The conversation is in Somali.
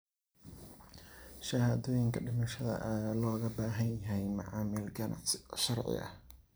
Shahaadooyinka dhimashada ayaa looga baahan yahay macaamil ganacsi oo sharci ah.